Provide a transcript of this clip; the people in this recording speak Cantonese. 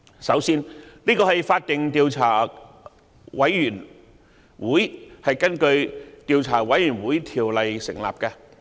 首先，這是法定的調查委員會，是根據《調查委員會條例》成立的。